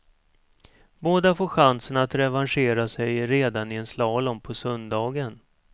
Båda får chansen att revanschera sig redan i en slalom på söndagen.